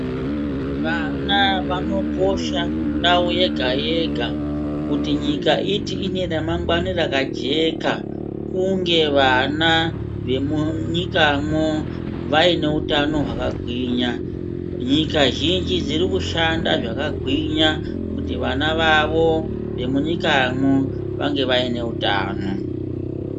Vana vanokosha mundau yega-yega kuti nyika iti ine ramangwani rakajeka kunge vana vemunyikamwo vaine utano hwakagwinya. Nyika zhinji dziri kushanda zvakagwinya kuti vana vavo vemunyikamwo vange vaine utano.